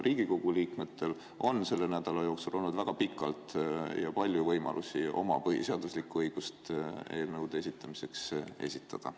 Riigikogu liikmetel on selle nädala jooksul olnud väga pikalt ja palju võimalusi oma põhiseaduslikku õigust kasutada ehk eelnõusid esitada.